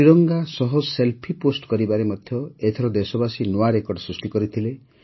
ତ୍ରିରଙ୍ଗା ସହ selfie post କରିବାରେ ମଧ୍ୟ ଏଥର ଦେଶବାସୀ ନୂଆ ରେକର୍ଡ ସୃଷ୍ଟି କଲେ